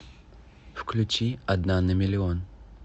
включи одна на миллион